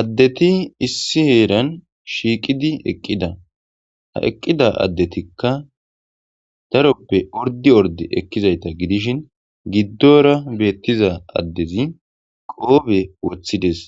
Addethi issi heran shiqidi eqida. Ha eqida addetikka daroppe ordi ordi ekkizaytha gidishin gidora bettiza adezi qophe wottides